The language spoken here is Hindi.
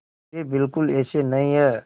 वे बिल्कुल ऐसे नहीं हैं